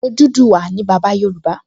Odùduwà ni bàbá Yorùbá